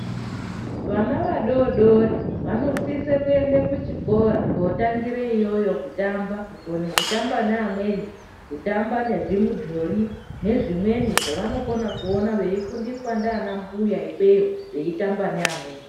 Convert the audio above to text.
Vana vadodori vanosisa kuenda kuchikora kotangira iyoyo kutamba kukona kotamba namweni kutamba nezvimudhori nezvimweni zvavanokona kuona veifundiswa ndiana mbuya ikweyo veitamba neamweni